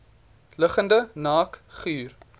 liggende naak guur